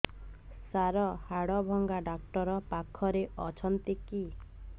ସାର ହାଡଭଙ୍ଗା ଡକ୍ଟର ପାଖରେ ଅଛନ୍ତି କି